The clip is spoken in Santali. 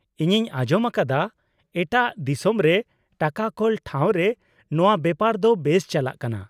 -ᱤᱧᱤᱧ ᱟᱸᱡᱚᱢ ᱟᱠᱟᱫᱟ, ᱮᱴᱟᱜ ᱫᱤᱥᱚᱢ ᱨᱮ ᱴᱟᱠᱟ ᱠᱳᱞ ᱴᱷᱟᱶ ᱨᱮ ᱱᱚᱣᱟ ᱵᱮᱯᱟᱨ ᱫᱚ ᱵᱮᱥ ᱪᱟᱞᱟᱜ ᱠᱟᱱᱟ ?